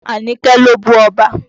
Àníkẹ́ ló bú ọba.